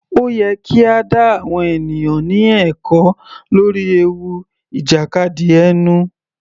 Ó yẹ kí a dá àwọn ènìyàn ní ẹ̀kọ́ lórí ewu ìjàkadì ẹnu.